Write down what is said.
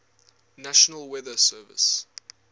national weather service